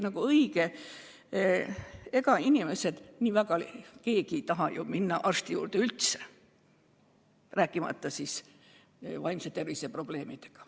Ja tõsi on, et ega inimesed nii väga ju ei taha üldse arsti juurde minna, rääkimata siis, kui tegu on vaimse tervise probleemidega.